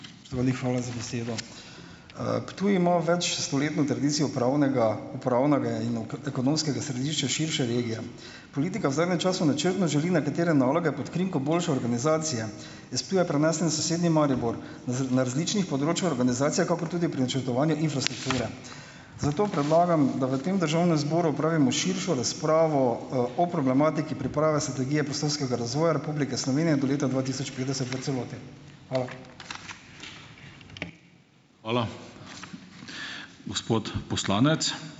Spoštovani, hvala za besedo. Ptuj ima večstoletno tradicijo upravnega, pravnega in ekonomskega središča širše regije. Politika v zadnjem času načrtno želi nekatere naloge pod krinko boljše organizacije iz Ptuja prenesti na sosednji Maribor na na različnih področjih organizacije kakor tudi pri načrtovanju infrastrukture. Zato predlagam, da v tem državnem zboru opravimo širšo razpravo, o problematiki priprave strategije prostorskega razvoja Republike Slovenije do leta dva tisoč petdeset v celoti. Hvala.